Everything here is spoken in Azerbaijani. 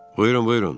Buyurun, buyurun.